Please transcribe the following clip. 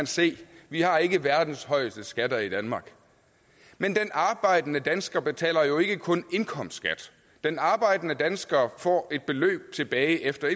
se vi har ikke verdens højeste skatter i danmark men den arbejdende dansker betaler jo ikke kun indkomstskat den arbejdende dansker får et beløb tilbage efter